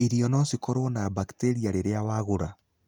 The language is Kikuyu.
Irio no cikoro na bacteria rĩrĩa wagũra.